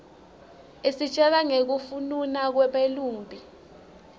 isitjela nqekufnuna kweba lumbi